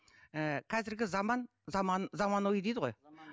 ііі қазіргі заман заман заманауи дейді ғой